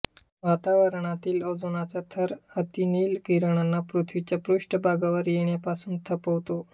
वातावरणातील ओझोनचा थर अतिनील किरणांना पृथ्वीच्या पृष्ठभागावर येण्यापासून थोपवतो